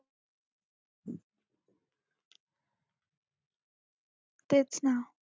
तेच ना.